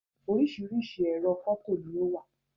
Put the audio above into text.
Oríṣiríṣi ẹ̀rọ fọto ni o wa.